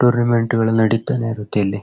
Tournament ಗಳೆಲ್ಲಾ ನಡಿತನೇ ಇರುತ್ತೆ ಇಲ್ಲಿ.